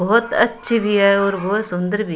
बहुत अच्छी भी है और बहुत सुंदर भी।